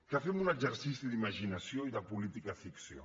que fem un exercici d’imaginació i de política ficció